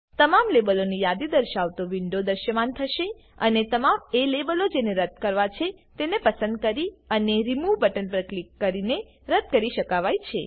તમામ લેબલોની યાદી દર્શાવતો વિન્ડો દ્રશ્યમાન થશે અને તમામ એ લેબલો જેને રદ્દ કરવા છે તેને પસંદ કરી અને રિમૂવ બટન પર ક્લિક કરીને રદ્દ કરી શકાવાય છે